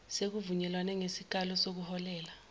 sekuvunyelwene ngesikalo sokuholela